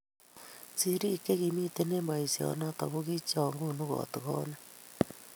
Sirindoik che kimitei eng boishet noto ko kichekonu katigonet